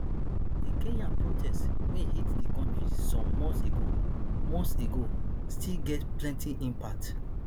di kenya protest wey hit di country some months ago months ago still get plenti impact